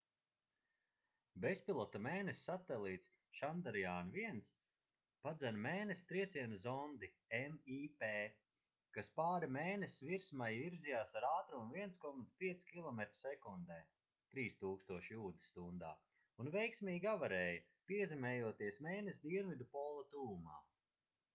bezpilota mēness satelīts chandrayaan-1 padzen mēness trieciena zondi mip kas pāri mēness virsmai virzījās ar ātrumu 1,5 kilometri sekundē 3000 jūdzes stundā un veiksmīgi avarēja piezemējoties mēness dienvidu pola tuvumā